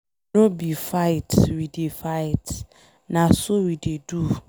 No be fight we dey fight, na so we dey do.